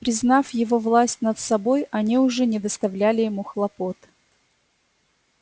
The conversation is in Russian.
признав его власть над собой они уже не доставляли ему хлопот